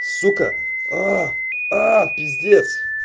сука аа аа пиздец